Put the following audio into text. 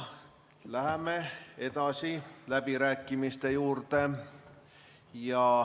Läheme läbirääkimiste juurde.